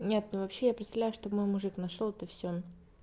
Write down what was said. нет ну вообще я представляю чтоб мой мужик нашёл это всё